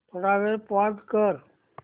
थोडा वेळ पॉझ कर